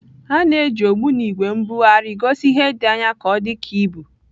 A na-eji ogbunigwe mbugharị gosi ihe dị anya ka ọ dị ka ibu.